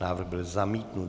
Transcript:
Návrh byl zamítnut.